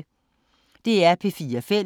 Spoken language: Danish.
DR P4 Fælles